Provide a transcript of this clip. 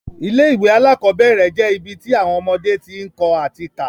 Ilé ìwé alákọ́bẹ̀rẹ̀ je ibi ti awọn ọmọdé ti ń kọ́ ati ká